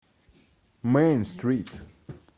мэйн стрит